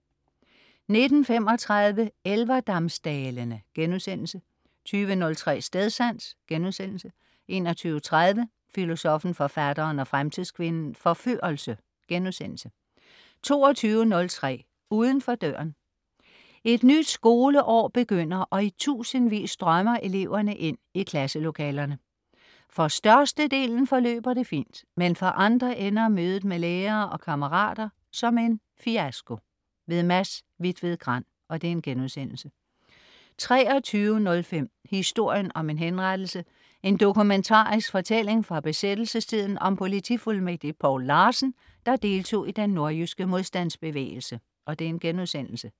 19.35 Elverdamsdalene* 20.03 Stedsans* 21.30 Filosoffen, Forfatteren og Fremtidskvinden - Forførelse* 22.03 Uden for døren. Et nyt skoleår begynder, og i tusindvis strømmer eleverne ind i klasselokalerne. For størstedelen forløber det fint. Men for andre ender mødet med lærere og kammerater som en fiasko. Mads Hvitved Grand* 23.05 Historien om en henrettelse. En dokumentarisk fortælling fra besættelsestiden om politifuldmægtig Poul Larsen, der deltog i den nordjyske modstandsbevægelse*